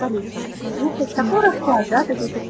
слушать